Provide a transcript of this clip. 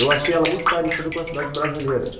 Eu achei ela muito parecida com as cidades brasileiras.